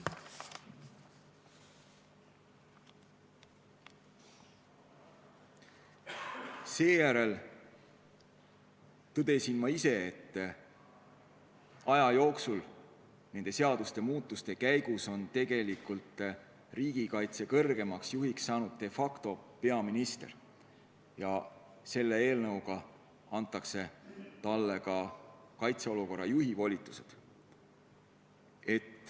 Seejärel tõdesin ma ise, et aja jooksul on nende seaduste muutmise käigus tegelikult riigikaitse kõrgeimaks juhiks saanud de facto peaminister ja selle eelnõuga antakse talle ka kaitseolukorra juhi volitused.